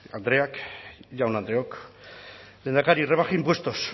andreak jaun andreok lehendakari rebaja impuestos